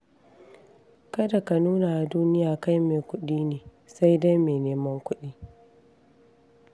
Kada ka nuna wa duniya kai mai kuɗi ne, sai dai mai neman kuɗi.